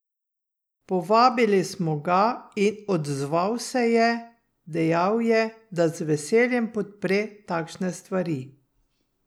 Povabili smo ga in odzval se je, dejal je, da z veseljem podpre takšne stvari.